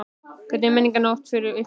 Hvernig er Menningarnótt fyrir ykkur?